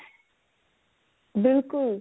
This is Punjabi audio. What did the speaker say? ਬਿਲਕੁਲ